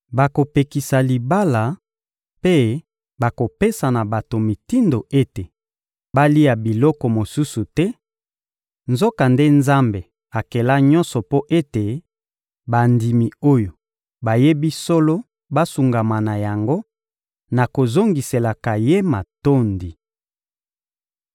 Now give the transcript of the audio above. Bakopekisa libala mpe bakopesa na bato mitindo ete balia biloko mosusu te; nzokande Nzambe akela nyonso mpo ete bandimi oyo bayebi solo basungama na yango na kozongiselaka Ye matondi.